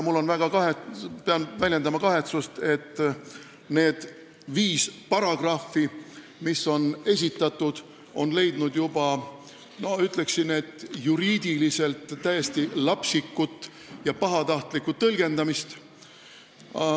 Pean väljendama kahetsust, et need viis esitatud paragrahvi on juba leidnud, ütleksin, juriidiliselt täiesti lapsikut ja pahatahtlikku tõlgendamist.